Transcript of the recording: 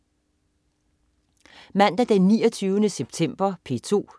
Mandag den 29. september - P2: